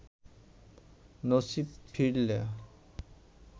নসীব ফিরলে